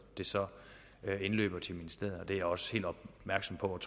så indløber til ministeriet det er jeg også helt opmærksom på og